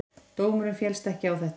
Dómurinn féllst ekki á þetta.